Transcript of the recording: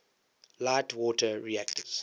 light water reactors